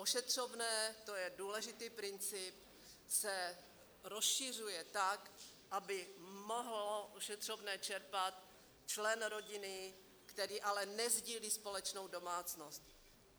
Ošetřovné - to je důležitý princip - se rozšiřuje tak, aby mohl ošetřovné čerpat člen rodiny, který ale nesdílí společnou domácnost.